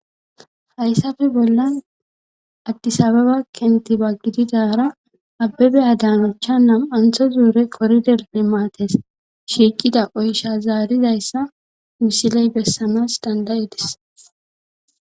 hayssafe bollan addisababa kentiba gididara abbebe adanacha nama'antho zuure qoriderne maates shiiqida oysha zaarizayssa misiley bessanas danda'ides